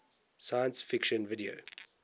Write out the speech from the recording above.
science fiction video